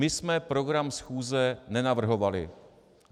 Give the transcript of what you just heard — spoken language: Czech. My jsme program schůze nenavrhovali.